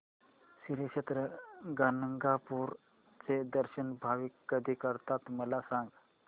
श्री क्षेत्र गाणगापूर चे दर्शन भाविक कधी करतात मला सांग